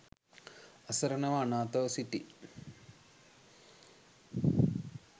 අසරණව අනාථව සිටියි.